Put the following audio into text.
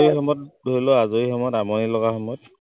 সেই সময়ত ধৰি লোৱা আজৰি সময়ত আমনি লগা সময়ত